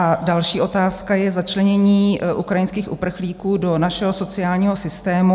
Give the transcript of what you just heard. A další otázka je začlenění ukrajinských uprchlíků do našeho sociálního systému.